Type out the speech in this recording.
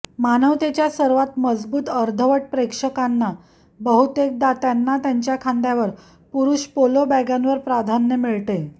मानवतेच्या सर्वात मजबूत अर्धवट प्रेक्षकांना बहुतेकदा त्यांना त्यांच्या खांद्यावर पुरुष पोलो बॅगांवर प्राधान्य मिळते